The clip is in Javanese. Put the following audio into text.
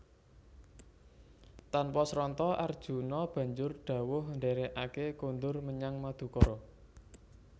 Tanpa sranta Arjuna banjur dhawuh ndherekake kondur menyang Madukara